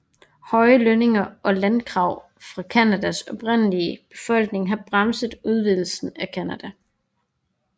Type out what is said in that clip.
Høje lønninger og landkrav fra Canadas oprindelige befolkning har bremset udvidelse i Canada